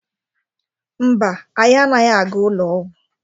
Mba, anyị anaghị aga ụlọ ọgwụ.